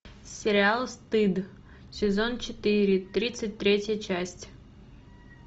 сериал стыд сезон четыре тридцать третья часть